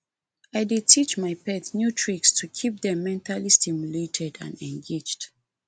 i dey teach my pet new tricks to keep dem mentally stimulated and engaged